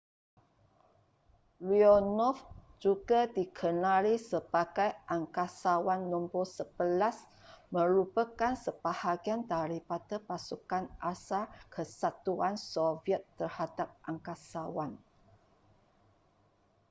leonov juga dikenali sebagai angkasawan no 11 merupakan sebahagian daripada pasukan asal kesatuan soviet terhadap angkasawan